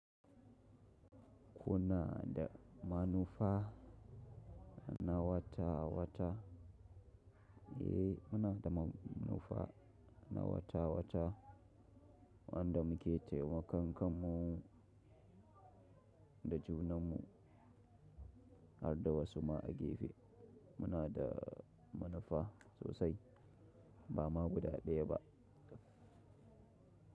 Kuna da manufa na wata-wata, eh muna da manufa na wata-wata wanda muke taimakon kanmu da junanmu har da wasu ma a gefe. Muna da manufa sosai ba ma guda ɗaya ba.